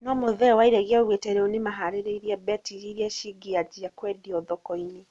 No Muthee Wairegi aũgũte rĩũ nĩmaharĩĩrĩe mbetiri ĩrĩa cĩngeanjĩa kwendĩo thoko-inĩ